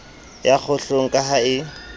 ya kgohlong ka ha e